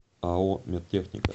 ао медтехника